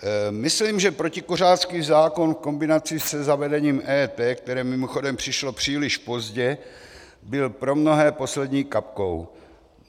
Myslím, že protikuřácký zákon v kombinaci se zavedením EET, které mimochodem přišlo příliš pozdě, byl pro mnohé poslední kapkou.